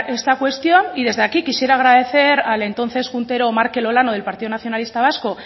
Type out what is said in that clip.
esta cuestión y desde aquí quisiera agradecer al entonces juntero markel olano del partido nacionalista vasco